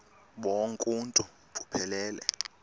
bonk uuntu buphelele